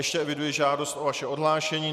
Ještě eviduji žádost o vaše odhlášení.